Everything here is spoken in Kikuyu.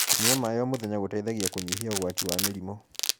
kũnyua maĩ o mũthenya gũteithagia kunyihia ugwati wa mĩrimũ